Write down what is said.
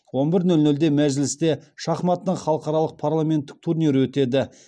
он бір нөл нөлде мәжілісте шахматының халықаралық парламенттік турнир өтеді